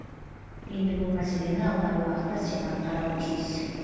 енді бұл мәселені алдағы уақытта сенат қарауы тиіс